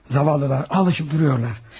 Yazıqlar, öyrəşib dayanırlar.